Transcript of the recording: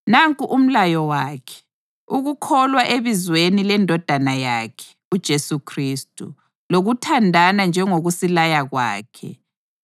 Nanku umlayo wakhe: ukukholwa ebizweni leNdodana yakhe, uJesu Khristu, lokuthandana njengokusilaya kwakhe.